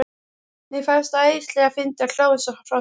Mér fannst það æðislega fyndið og hló eins og hross.